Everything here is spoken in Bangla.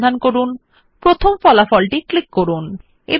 find how many times the word video appears in the page